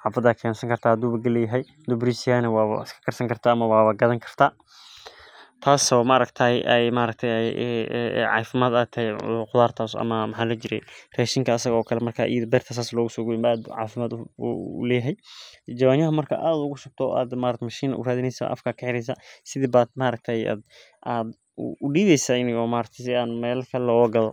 xafada aya keneysa cafimaadka ayu ufican yahay ama wa maaragte waa isticmaleysa aad iyo aad ayey muhiim u tahay.